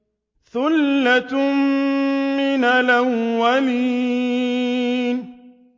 ثُلَّةٌ مِّنَ الْأَوَّلِينَ